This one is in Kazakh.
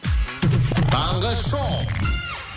таңғы шоу